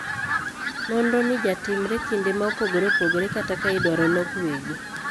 Nonro ni jatimre kinde ma opogore opogore kata ka idwaro lok weegi.